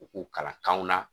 U k'u kalan kanw na